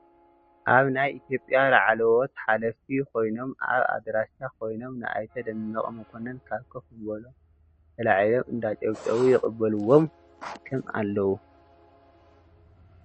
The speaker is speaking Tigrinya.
ኣብ ናይ ኢትዮጰያ ላዕሎዎት ሓለፍቲ ኮይኖም ኣብ ኣዳራሽ ኮይኖም ንኣይተ ደመቀ መኮነን ካብ ኮፍ ምባሎም ተላዒሎም እንዳጨብጨቡ ይቅበልዎም ከም ኣለው።